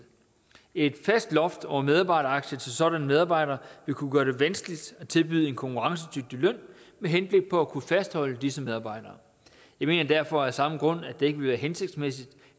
et fast loft over medarbejderaktier til sådanne medarbejdere vil kunne gøre det vanskeligt at tilbyde en konkurrencedygtig løn med henblik på at kunne fastholde disse medarbejdere jeg mener derfor af samme grund at det ikke vil være hensigtsmæssigt